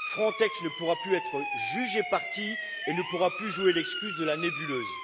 L'agence ne pourra plus être juge et partie et ne pourra plus jouer l'excuse de la nébuleuse.